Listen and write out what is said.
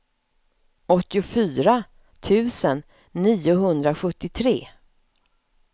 åttiofyra tusen niohundrasjuttiotre